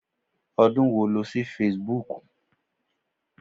Ọdún wo lo ṣí Facebook?